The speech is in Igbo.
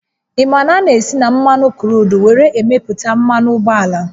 Ị ma na a na-esi na mmanụ kruudu were emeputa mmanụ ụgbọala?